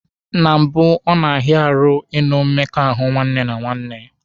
Na mbụ, ọ na-arụ ahụ ịnụ mmekọahụ nwanne na nwanne.